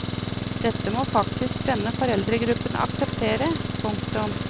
Dette må faktisk denne foreldregruppen akseptere. punktum